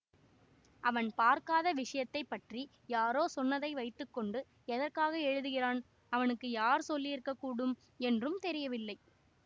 அவன் பார்க்காத விஷயத்தை பற்றி யாரோ சொன்னதை வைத்து கொண்டு எதற்காக எழுதுகிறான் அவனுக்கு யார் சொல்லியிருக்கக்கூடும் என்றும் தெரியவில்லை